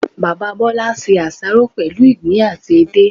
Bàbá Bólá se àsáró pèlú ìgbín àti edé